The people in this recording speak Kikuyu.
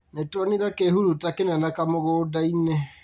Nĩtuonire kĩhuruta kĩnene kamũgũnda-inĩ